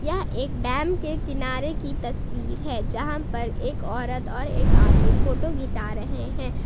यह एक डैम के किनारे की तस्वीर है जहां पर एक औरत और एक आदमी फोटो घिंचा रहे है।